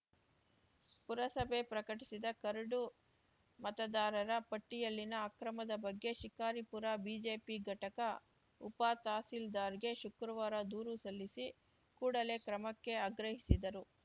ಪುರಸಭೆ ಪ್ರಕಟಿಸಿದ ಕರಡು ಮತದಾರರ ಪಟ್ಟಿಯಲ್ಲಿನ ಅಕ್ರಮದ ಬಗ್ಗೆ ಶಿಕಾರಿಪುರ ಬಿಜೆಪಿ ಘಟಕ ಉಪತಹಸೀಲ್ದಾರ್‌ ಗೆ ಶುಕ್ರವಾರ ದೂರು ಸಲ್ಲಿಸಿ ಕೂಡಲೇ ಕ್ರಮಕ್ಕೆ ಆಗ್ರಹಿಸಿದರು